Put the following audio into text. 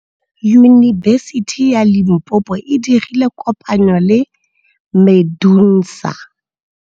Yunibesiti ya Limpopo e dirile kopanyô le MEDUNSA.